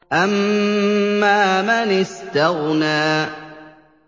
أَمَّا مَنِ اسْتَغْنَىٰ